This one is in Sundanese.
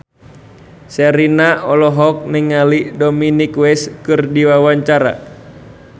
Sherina olohok ningali Dominic West keur diwawancara